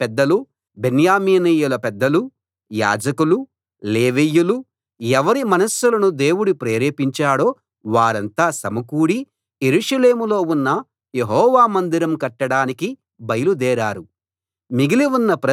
అప్పుడు యూదా పెద్దలు బెన్యామీనీయుల పెద్దలు యాజకులు లేవీయులు ఎవరి మనస్సులను దేవుడు ప్రేరేపించాడో వారంతా సమకూడి యెరూషలేములో ఉన్న యెహోవా మందిరం కట్టడానికి బయలుదేరారు